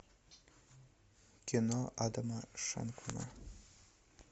кино адама шенкмана